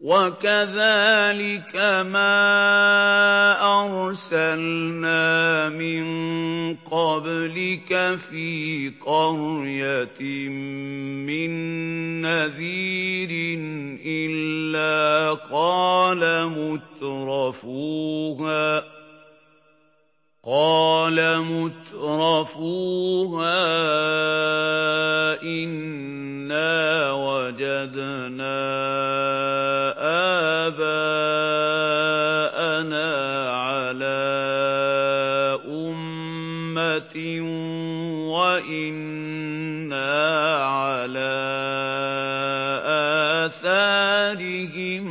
وَكَذَٰلِكَ مَا أَرْسَلْنَا مِن قَبْلِكَ فِي قَرْيَةٍ مِّن نَّذِيرٍ إِلَّا قَالَ مُتْرَفُوهَا إِنَّا وَجَدْنَا آبَاءَنَا عَلَىٰ أُمَّةٍ وَإِنَّا عَلَىٰ آثَارِهِم